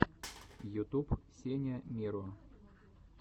ютуб сеня миро